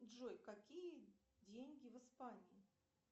джой какие деньги в испании